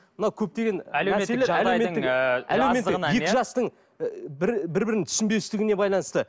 мынау көптеген әлеуметтік жағдайдың ы екі жастың ы бір бір бірін түсінбестігіне байланысты